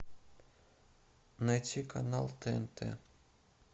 найти канал тнт